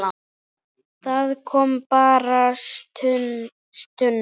Það kom bara stuna.